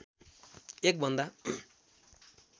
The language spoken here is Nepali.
एक भन्दा